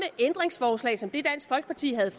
ændringsforslag som det dansk folkeparti havde